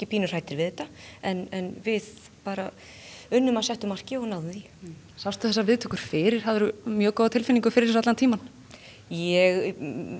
pínu hræddir við þetta en við bara unnum að settu marki og náðum því sástu þessar viðtökur fyrir hafðirðu mjög góða tilfinningu fyrir þessu allan tímann ég